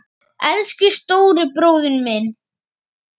Elsku stóri bróðir minn.